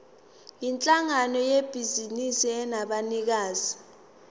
yinhlangano yebhizinisi enabanikazi